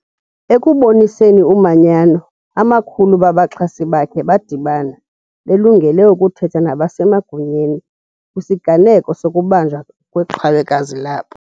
Ekuboniseni umanyano, amakhulu babaxhasi bakhe badibana, belungele ukuthetha nabasemagunyeni kwisiganeko sokubanjwa kweqhawekazi labo.